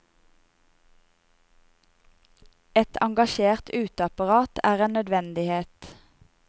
Et engasjert uteapparat er en nødvendighet.